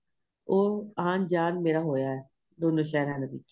ਉਹ ਆਂਣ ਜਾਣ ਮੇਰਾ ਹੋਇਆ ਏ ਦੋਨਾਂ ਸ਼ਹਿਰਾ ਦੇ ਵਿੱਚ